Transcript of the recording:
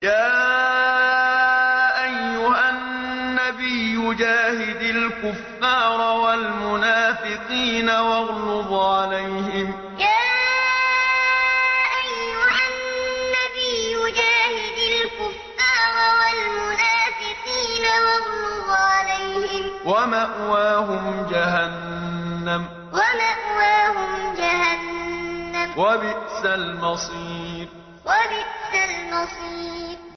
يَا أَيُّهَا النَّبِيُّ جَاهِدِ الْكُفَّارَ وَالْمُنَافِقِينَ وَاغْلُظْ عَلَيْهِمْ ۚ وَمَأْوَاهُمْ جَهَنَّمُ ۖ وَبِئْسَ الْمَصِيرُ يَا أَيُّهَا النَّبِيُّ جَاهِدِ الْكُفَّارَ وَالْمُنَافِقِينَ وَاغْلُظْ عَلَيْهِمْ ۚ وَمَأْوَاهُمْ جَهَنَّمُ ۖ وَبِئْسَ الْمَصِيرُ